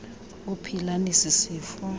ophila nesi sifo